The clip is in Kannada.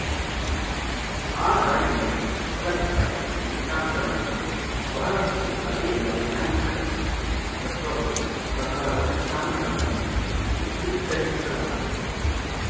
ಆ ಧಾಟಿಯಲ್ಲಿ ಕಲ್ಪಿತ ಸಿದ್ಧಾಂತಗಳಂತೆ ಬಹಳಷ್ಟು ಅದೇ ವೈಜ್ಞಾನಿಕ ತತ್ವಗಳ ಪ್ರಕಾರ ಸಿದ್ಧಾಂತಗಳನ್ನು ಸೂತ್ರೀಕರಿಸಲಾಗುತ್ತದೆ